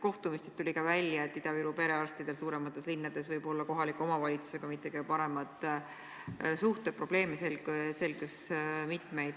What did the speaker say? Kohtumistel tuli välja, et Ida-Viru perearstidel suuremates linnades võivad olla kohalike omavalitsustega mitte kõige paremad suhted, selgus mitmeid probleeme.